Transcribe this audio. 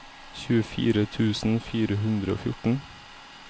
tjuefire tusen fire hundre og fjorten